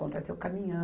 Contratei o caminhão.